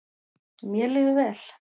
Mér líður vel.